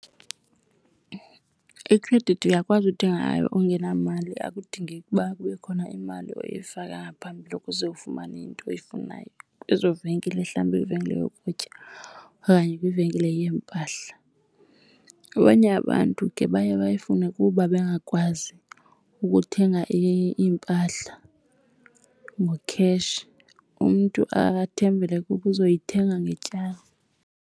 Ikhredithi uyakwazi uthenga ngayo ungenamali, akudingeki uba kube khona imali oyifaka ngaphambili ukuze ufumane into oyifunayo kwezo venkile, mhlambi kwivenkile yokutya okanye kwivenkile yeempahla. Abanye abantu ke baye bayifune kuba bengakwazi ukuthenga iimpahla ngo-cash, umntu athembele ukuba uzayithenga ngetyala.